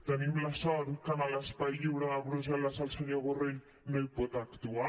tenim la sort que a l’espai lliure de brussel·les el senyor borrell no hi pot actuar